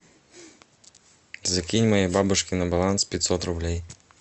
закинь моей бабушке на баланс пятьсот рублей